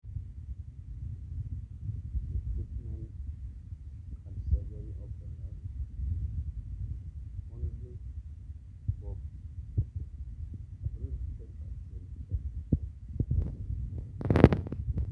ore embaata na tenebo oo eyiangata orkipeu na te Asin etomon ake puan